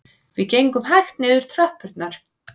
Við gengum hægt niður tröppurnar